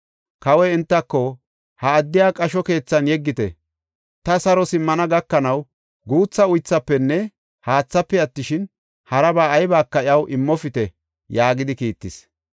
Kawoy entako, ‘Ha addiya qasho keethan yeggite; ta saro simmana gakanaw guutha uythafenne haathaafe attishin, haraba aybaka iyaw immopite’ ” yaagidi kiittis.